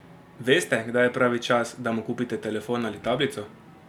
Veste, kdaj je pravi čas, da mu kupite telefon ali tablico?